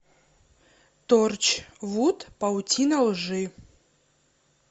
торчвуд паутина лжи